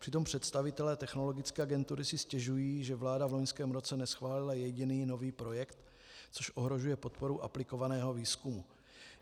Přitom představitelé Technologické agentury si stěžují, že vláda v loňském roce neschválila jediný nový projekt, což ohrožuje podporu aplikovaného výzkumu.